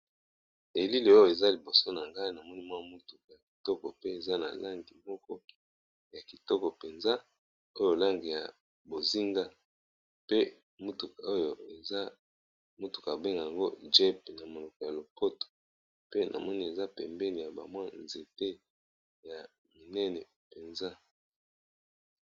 Elili oyo eza liboso na ngai na moni mwa motuku ya kitoko pe eza na langi moko ya kitoko mpenza, oyo langi ya bozinga pe motuka oyo eza motuka ba bengaka yango jeep na monoko ya lopoto pe na moni eza pembeni ya ba mwa nzete ya minene mpenza.